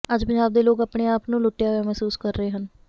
ਅੱਜ ਪੰਜਾਬ ਦੇ ਲੋਕ ਆਪਣੇ ਆਪ ਨੂੰ ਲੁੱਟਿਆ ਹੋਇਆ ਮਹਿਸੂਸ ਕਰ ਰਹੇ ਹਨ